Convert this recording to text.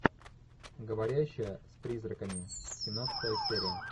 говорящая с призраками семнадцатая серия